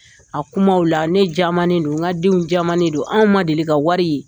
A kumaw la, ne jamalen don, n ka denw jamalen don, anw ma deli ka wari ye.